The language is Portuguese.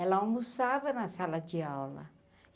Ela almoçava na sala de aula.